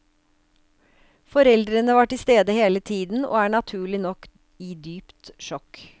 Foreldrene var til stede hele tiden, og er naturlig nok i dypt sjokk.